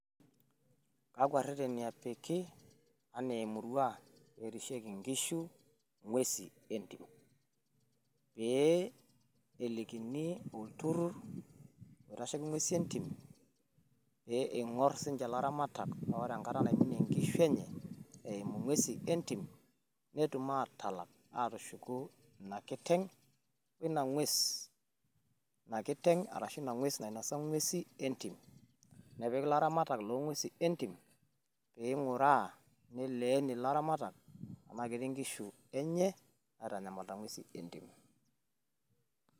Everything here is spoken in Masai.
pee elikini olturur oitasheki ing'uesin entim pee ing'or sii niche ilaramatak paa ore engong' naminie sii niche inkishu enye eimu ing'uesin entim, atalak atushuku inakiteng' enye arashu ina ng'ues nenosa ing'usi entim nepiki ilaing'urak pee etum aing'ura.